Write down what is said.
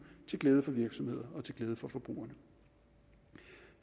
til glæde for virksomhederne og til glæde for forbrugerne